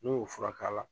N'o y'o furak'a la